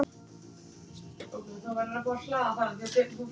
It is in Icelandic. Lena, þú verður að fara!